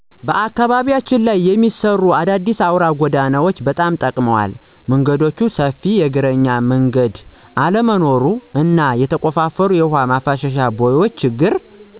በአካባቢያችን ላይ የሚሰሩ አዳዲስ አውራ ጎዳናዎች ጎዳናዎች በጣም ጠቅመዋል። መንገዶች ሰፊ የእግረኛ መንገድ አለመኖሩ እና የተቆፋፈሩ የውሃ ማፋሰሻ ቦዮች ችግር